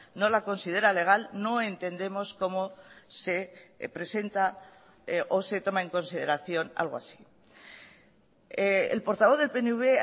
no la considera legal no entendemos cómo se presenta o se toma en consideración algo así el portavoz del pnv